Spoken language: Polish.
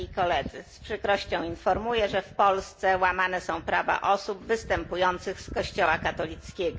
Z przykrością informuję, że w Polsce łamane są prawa osób występujących z Kościoła katolickiego.